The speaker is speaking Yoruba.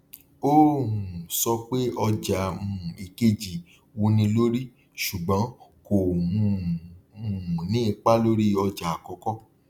ó um sọ pé ọjà um ìkejì wúni lórí ṣùgbọn kò um um ní ipa lórí ọjà àkọkọ